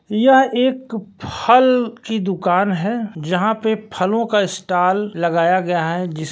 यह एक फल की दुकान है जहां पर फलों का स्टाल लगाया गया है जिस--